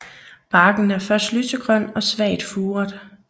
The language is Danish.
Barken er først lysegrøn og svagt furet